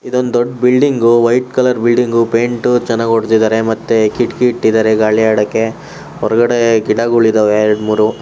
ಇದೊಂದು ದೊಡ್ಡ building white colour building paint ಚೆನ್ನಾಗಿ ಹೊಡೆದಿದ್ದಾರೆ ಮತ್ತೆ ಕಿಟಕಿ ಇಟ್ಟಿದ್ದಾರೆ ಗಾಳಿ ಆಡೋಕೆ ಹೊರಗಡೆ ಗಿಡಗಳು ಇದ್ದವೇ ಎರಡ್ ಮೂರೂ --